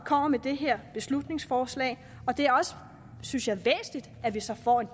kommer med det her beslutningsforslag og det er også synes jeg væsentligt at vi så får en